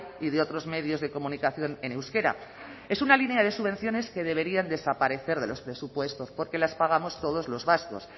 y de otros medios de comunicación en euskera es una línea de subvenciones que debería desaparecer de los presupuestos porque las pagamos todos los vascos